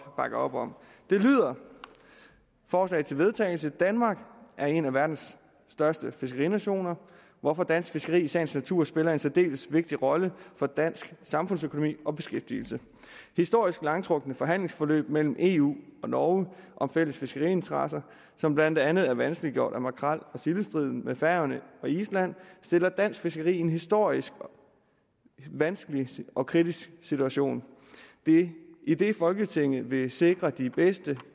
bakke op om det lyder forslag til vedtagelse danmark er en af verdens største fiskerinationer hvorfor dansk fiskeri i sagens natur spiller en særdeles vigtig rolle for dansk samfundsøkonomi og beskæftigelse historisk langtrukne forhandlingsforløb mellem eu og norge om fælles fiskeriinteresser som blandt andet er vanskeliggjort af makrel og sildestriden med færøerne og island stiller dansk fiskeri i en historisk vanskelig og kritisk situation idet folketinget vil sikre de bedste